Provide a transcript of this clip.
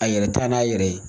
A yɛrɛ taa n'a yɛrɛ